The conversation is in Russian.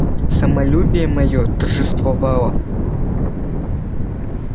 самолюбие моё торжествовало